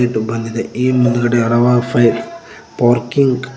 ಇದು ಬಂದಿದೆ ಇ ಮುಂದ್ಗಡೆ ಹರವಾರು ಫೈ ಪಾರ್ಕಿಂಗ್ --